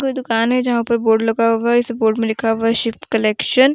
दुकान है जहां पर बोर्ड लगा होगा इस बोर्ड में लिखा हुआ शिव कलेक्शन ।